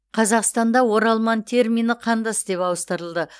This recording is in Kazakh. қазақстанда оралман термині қандас деп ауыстырылды